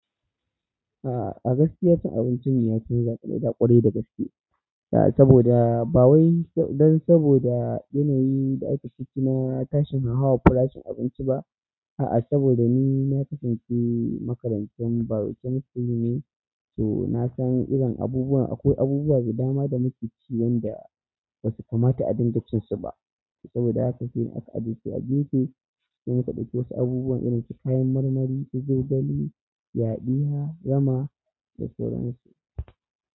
A', agaskiya cin abinci mu ya canza fiye da da ƙwarai da gaske. A', saboda ba wai don saboda yanayi da ake ciki na tashin hauhawan farashin abinci ba. A'a, saboda ni na kasance makarancin biochemistry ne, so na san irin abubuwan akwai abubuwa da dama da muke ci wanda bai kamata a dinga cin su ba. Saboda haka shi ne aka ajiye su a gefe sai muka ɗauki wasu abubuwan irin su kayan marmari, su zogale, yadiyya, rama da sauransu.